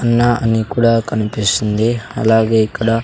అన్న అని కూడా కనిపిస్తుంది అలాగే ఇక్కడ--